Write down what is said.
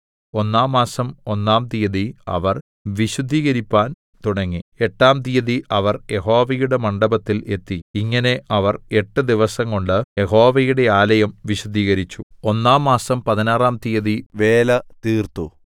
ഒന്നാം മാസം ഒന്നാം തീയതി അവർ വിശുദ്ധീകരിപ്പാൻ തുടങ്ങി എട്ടാം തീയതി അവർ യഹോവയുടെ മണ്ഡപത്തിൽ എത്തി ഇങ്ങനെ അവർ എട്ട് ദിവസംകൊണ്ട് യഹോവയുടെ ആലയം വിശുദ്ധീകരിച്ചു ഒന്നാം മാസം പതിനാറാം തീയതി വേല തീർത്തു